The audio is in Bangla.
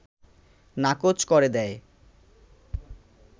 নাকচ করে দেয়